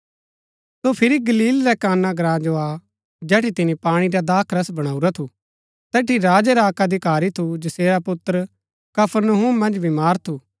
सो फिरी गलील रै काना ग्राँ जो आ जेठी तिनी पाणी रा दाखरस बणाऊरा थू तैठी राजा रा अक्क अधिकारी थू जैसेरा पुत्र कफरनहूम मन्ज बीमार थू